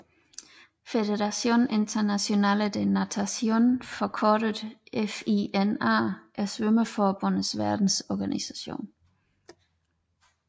Fédération Internationale de Natation forkortet FINA er svømmeforbundenes verdensorganisation